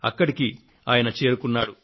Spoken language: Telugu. అక్కడికి ఆయన చేరుకున్నాడు